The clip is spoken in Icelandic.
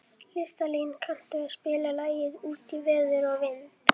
Listalín, kanntu að spila lagið „Út í veður og vind“?